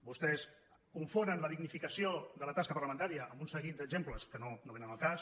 vostès confonen la dignificació de la tasca parlamentària amb un seguit d’exemples que no vénen al cas